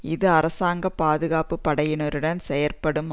இது அரசாங்க பாதுகாப்பு படையினருடன் செயற்படும்